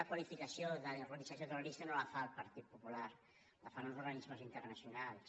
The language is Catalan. la qualificació d’organització terrorista no la fa el partit popular la fan uns organismes internacionals